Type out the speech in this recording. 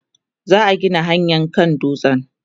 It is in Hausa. za'a Gina hanyaa kan dutsen